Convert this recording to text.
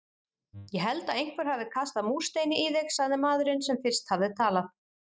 Ég held að einhver hafi kastað múrsteini í þig sagði maðurinn sem fyrst hafði talað.